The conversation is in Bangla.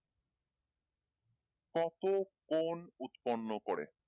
কত কোন উৎপর্নো করে